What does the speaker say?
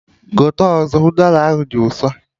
Gote ọzọ! Udara ahụ dị ụsọ!